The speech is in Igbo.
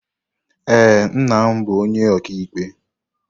Ee, nna m bụ Onyeikpe.